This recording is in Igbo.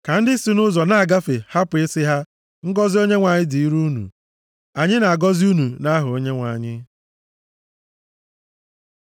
Ka ndị si nʼụzọ na-agafe hapụ ị sị ha, “Ngọzị Onyenwe anyị dịrị unu. Anyị na-agọzi unu nʼaha Onyenwe anyị.” + 129:8 \+xt Rut 2:4\+xt*